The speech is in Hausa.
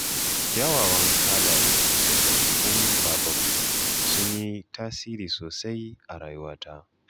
Kyawawan halaye da ɗabi'un babanmu sun yi tasiri sosai a rayuwata.